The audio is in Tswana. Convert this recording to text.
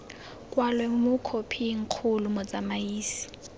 kwalwe mo khophing kgolo motsamaisi